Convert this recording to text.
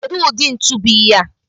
Kedu ụdị ntu bụ ihea?